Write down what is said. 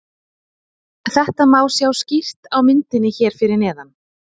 Þetta má sjá skýrt á myndinni hér fyrir neðan.